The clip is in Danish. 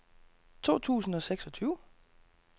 to tusind og seksogtyve